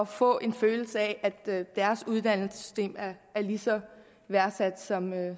få en følelse af at deres uddannelsessystem er lige så værdsat som